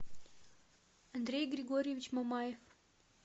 андрей григорьевич мамаев